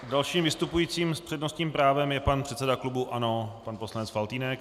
Dalším vystupujícím s přednostním právem je pan předseda klubu ANO pan poslanec Faltýnek.